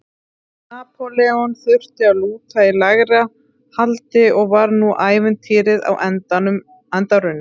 Napóleon þurfti að lúta í lægra haldi og var nú ævintýrið á enda runnið.